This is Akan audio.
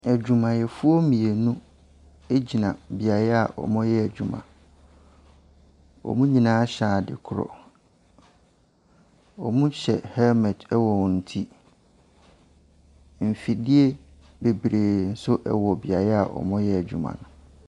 Adwumayɛfo mmienu gyina beae a wɔyɛ adwuma. Wɔn nyinaa hyɛ ade korɔ, wɔhyɛ helmet wɔ wɔn ti. Mfidie bebree nso wɔ beaeɛ a wɔreyɛ adwuma no.